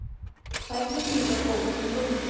Færri bílar óku um göngin